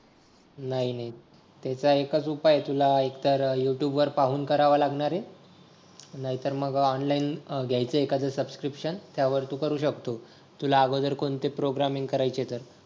नाही नाही त्याचा एकच उपाय आहे तुला येतं यूट्यूब वर पाहून करावा लागणारे नाहीतर मग ऑनलाईन घ्यायचं एखादं सबस्क्रीप्शन त्यावर तू करू शकतो तुला अगोदर कोणती प्रोग्रामिंग करायची आहे तर